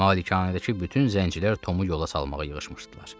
Malikanədəki bütün zəncilər Tomu yola salmağa yığışmışdılar.